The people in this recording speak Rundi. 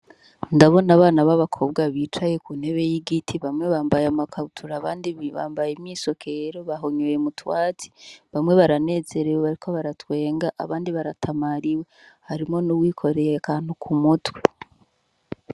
Ndabona abana b'abakobwa bicaye ku ntebe y'igiti bamwe bambaye amakabutura abandi bambaye mwisokero bahonyoye mutwazi bamwe baranezerewe bariko baratwenga abandi baratamariwe harimo n'uwikoreye kantu ku mutwe.